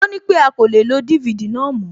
Ó nípé a kò lè lo DVD náà mòó